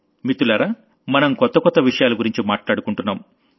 మిత్రలారా మనసులో మాటలో మనం కొత్త కొత్త విషయాల గురించి మాట్లాడుకుంటున్నాం